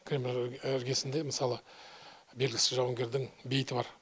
кремль іргесінде мысалы белгісіз жауынгердің бейіті бар